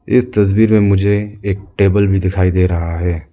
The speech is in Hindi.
इस तस्वीर में मुझे एक टेबल भी दिखाई दे रहा है।